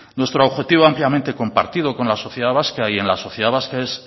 nuestro objetivo ampliamente compartido con la sociedad vasca y en la sociedad vasca es